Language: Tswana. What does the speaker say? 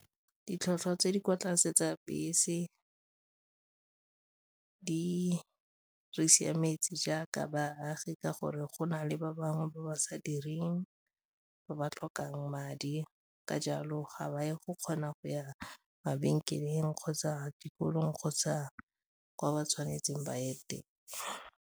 Ditlhotlhwa tse di kwa tlase tsa bese di re siametse jaaka baagi ka gore go na le ba bangwe ba ba sa direng ba ba tlhokang madi ka jalo ga ba e go kgona go ya mabenkeleng kgotsa dikolong kgotsa kwa ba tshwanetseng ba ye teng.